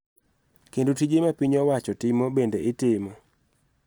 Kendo tije ma piny owacho timo bende itimo.